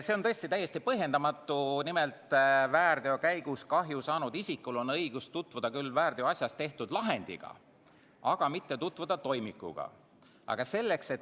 See on tõesti täiesti põhjendamatu, et väärteo käigus kahju saanud isikul on õigus tutvuda küll väärteoasjas tehtud lahendiga, aga mitte tutvuda toimikuga.